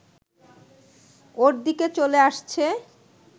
ওর দিকে চলে আসছে